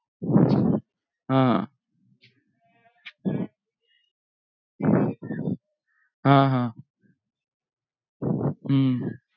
हा हा ह हम्म हा हा ह हम्म